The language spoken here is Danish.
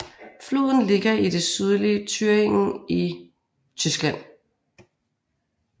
Floden ligger i det sydlige Thüringen i Tyskland